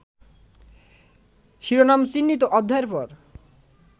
শিরোনামচিহ্নিত অধ্যায়ের পর